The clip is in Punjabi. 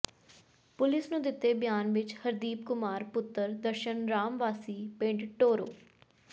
ਪੁਲਿਸ ਨੂੰ ਦਿੱਤੇ ਬਿਆਨ ਵਿਚ ਹਰਦੀਪ ਕੁਮਾਰ ਪੁੱਤਰ ਦਰਸ਼ਨ ਰਾਮ ਵਾਸੀ ਪਿੰਡ ਟੋਰੋ